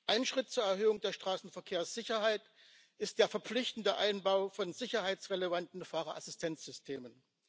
Ein Schritt zur Erhöhung der Straßenverkehrssicherheit ist der verpflichtende Einbau von sicherheitsrelevanten Fahrerassistenzsystemen.